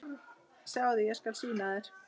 Sjáðu, ég skal sýna þér